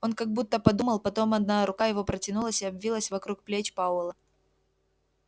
он как будто подумал потом одна рука его протянулась и обвилась вокруг плеч пауэлла